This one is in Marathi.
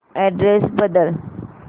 अॅड्रेस बदल